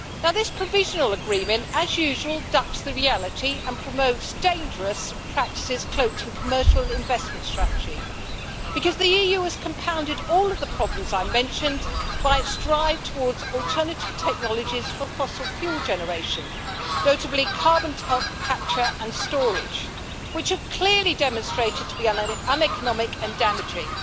This provisional agreement, as usual, ducks the reality and promotes dangerous practices cloaked in commercial investment strategy, because the EU is compounded all of the problems I mentioned by strive towards alternative technologies for fossil fuel generation, notably carbon to help capture and storage, which are clearly demonstrated to be uneconomic and damaging.